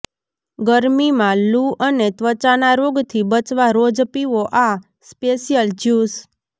ગરમીમાં લૂ અને ત્વચાના રોગથી બચવા રોજ પીવો આ સ્પેશિયલ જ્યુસ